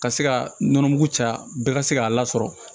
Ka se ka nɔnɔmugu caya bɛɛ ka se k'a lasɔrɔ